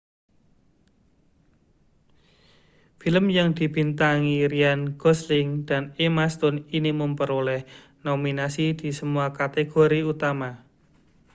film yang dibintangi ryan gosling dan emma stone ini memperoleh nominasi di semua kategori utama